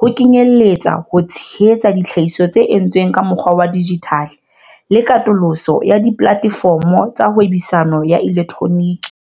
ho kenyeletsa ho tshehetsa ditlhahiso tse entsweng ka mokgwa wa dijithale le katoloso ya dipolatefomo tsa hwebisano ya elektroniki.